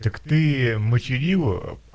так ты материла